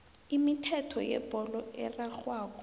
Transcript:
imithetho yebholo erarhwako